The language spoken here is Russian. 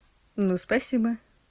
ну спасибо